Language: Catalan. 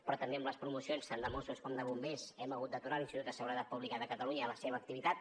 però també en les promocions tant de mossos com de bombers hem hagut d’aturar l’institut de seguretat pública de catalunya la seva activitat